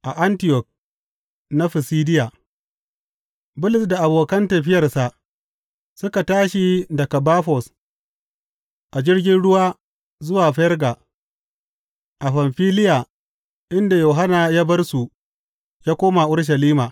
A Antiyok na Fisidiya Bulus da abokan tafiyarsa suka tashi daga Bafos a jirgin ruwa zuwa Ferga a Famfiliya inda Yohanna ya bar su ya koma Urushalima.